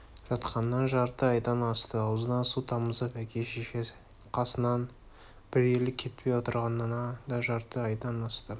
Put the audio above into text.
жатқанына жарты айдан асты аузына су тамызып әке-шеше қасынан бір елі кетпей отырғанына да жарты айдан асты